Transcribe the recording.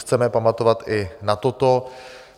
Chceme pamatovat i na toto.